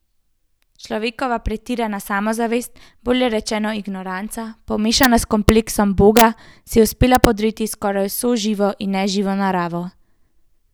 Človekova pretirana samozavest, bolje rečeno ignoranca, pomešana s kompleksom boga, si je uspela podrediti skoraj vso živo in neživo naravo.